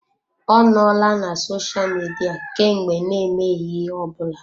Ọ nọọla na sosha Midia kemgbe n'emeghị ihe ọ bụla.